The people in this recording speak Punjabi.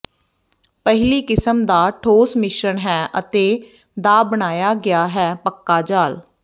ਪਹਿਲੀ ਕਿਸਮ ਦਾ ਠੋਸ ਮਿਸ਼ਰਣ ਹੈ ਅਤੇ ਦਾ ਬਣਾਇਆ ਗਿਆ ਹੈ ਪੱਕਾ ਜਾਲ